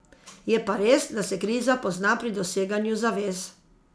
Je pa res, da se kriza pozna pri doseganju zavez.